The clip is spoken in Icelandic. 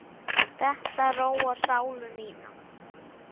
Þetta róar sálu mína.